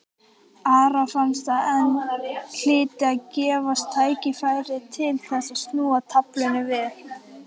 Ara fannst að enn hlyti að gefast tækifæri til þess að snúa taflinu við.